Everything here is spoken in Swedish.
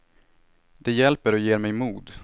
Det hjälper och ger mig mod.